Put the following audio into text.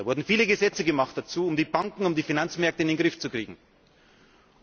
Dazu wurden viele Gesetze gemacht, um die Banken, um die Finanzmärkte in den Griff zu bekommen.